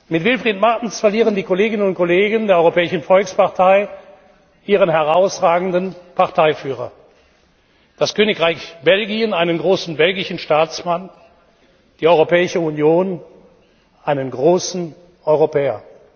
Mit Wilfried Martens verlieren die Kolleginnen und Kollegen der Europäischen Volkspartei ihren herausragenden Parteiführer, das Königreich Belgien einen großen belgischen Staatsmann, die Europäische Union einen großen Europäer.